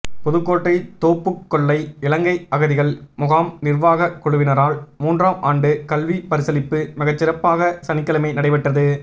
புதுக்கோட்டை தோப்புக்கொல்லை இலங்கை அகதிகள் முகாம் நிர்வாக குழுவினரால் மூன்றாம் ஆண்டு கல்விபரிசளிப்பு மிகச்சிறப்பாக சனிக்கிழமை நடைபெற்றது